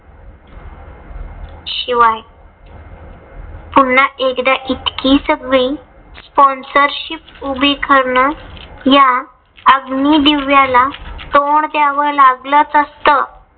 शिवाय पुन्हा एकदा इतकी सगळी sponsorship उभी करण या अग्निदिव्याला तोंड द्याव लागलच असत.